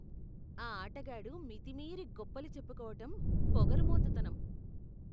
ఆ ఆటగాడు మితిమీరి గొప్పలు చెప్పుకోవటం పోగరుమోతుతనం.